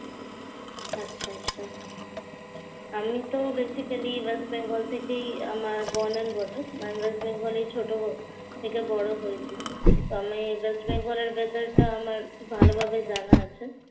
আচ্ছা, আচ্ছা আমিতো basically ওয়েস্ট বেঙ্গল থেকেই আমার born and bottom মানে ওয়েস্ট বেঙ্গলেই ছোট থেকে বড় হয়েছি। তো আমি ওয়েস্ট বেঙ্গলের weather টা ভালোভাবেই জানা আছে।